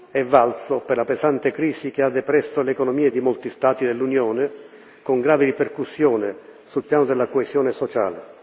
è valso per la pesante crisi che ha depresso le economie di molti Stati dell'Unione, con grave ripercussione sul piano della coesione sociale.